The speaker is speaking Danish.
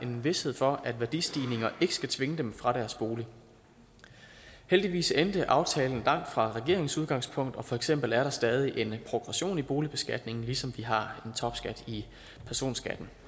en vished for at værdistigninger ikke skal tvinge dem fra deres bolig heldigvis endte aftalen langt fra regeringens udgangspunkt og for eksempel er der stadig en progression i boligbeskatningen ligesom vi har en topskat i personskatten